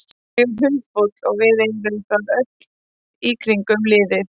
Ég er hundfúll og við erum það öll í kringum liðið.